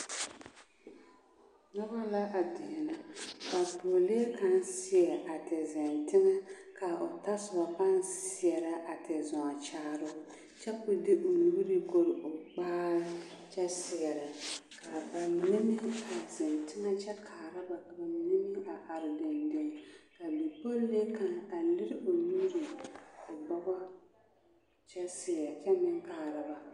Noba la a deɛnɛ ka a pɔgelee kaŋ seɛ a ti zeŋ teŋɛ ka o tɔsoba paa seɛrɛ a ti zɔɔ kyaare o kyɛ ka o de o nuure bonne eŋ o kpaare kyɛ seɛrɛ ka ba mine meŋ a zeŋ teŋɛ kyɛ kaara ba ka ba mine meŋ a are deŋdeŋ ka bipollee kaŋ a lere o nuure o bɔgɔ kyɛ seɛrɛ kyɛ meŋ kaara ba.